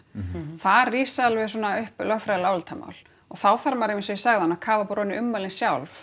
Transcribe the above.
þar rísa alveg upp svona lögfræðileg álitamál og þá þarf maður eins og ég sagði áðan að kafa bara ofan í ummælin sjálf